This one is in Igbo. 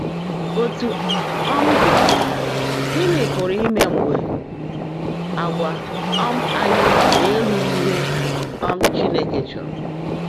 Ótú ó um ḍị́, gị́ní pụ́rụ́ íme mgbe àgwà um ányị́ ná-èrùghị́ íhe um Chínekè chọ́ọ́ró?